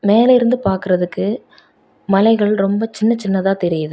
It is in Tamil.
மேல இருந்து பாக்குறதுக்கு மலைகள் ரொம்ப சின்ன சின்னதா தெரியுது.